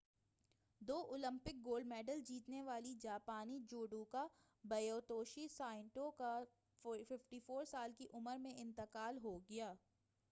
دو Olympic gold medal جیتنے والی جاپانی جوڈوکا ہیتوشی سائٹو کا 54 سال کی عمر میں انتقال ہو گیا